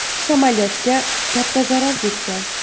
Samolyotga katta zarar yetgan.